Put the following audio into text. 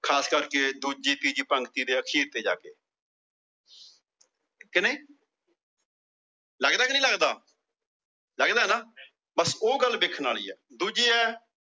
ਖਾਸ ਕਰਕੇ ਦੂਜੀ ਤੀਜੀ ਪੰਕਤੀ ਦੇ ਅਖੀਰ ਚ ਜਾਕੇ। ਕਿ ਨਹੀਂ ਲੱਗਦਾ ਕੇ ਨਹੀਂ ਲੱਗਦਾ। ਲੱਗਦਾ ਨਾ ਬੱਸ ਉਹ ਗੱਲ ਵੇਖਣ ਵਾਲੀ ਆ। ਦੂਜੀ ਏ